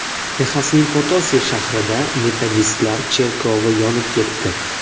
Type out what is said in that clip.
Texasning Potosi shahrida metodistlar cherkovi yonib ketdi.